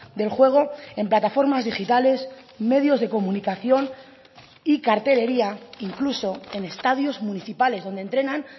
del juego en plataformas digitales medios de comunicación y cartelería incluso en estadios municipales donde entrenan